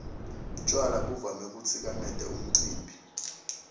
tjwala buvame kutsikameta umcimbi